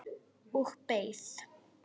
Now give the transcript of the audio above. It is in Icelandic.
Og beið.